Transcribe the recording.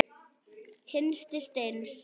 Hinsti sjens.